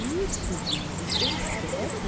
Ixi, dona, mas estrepe.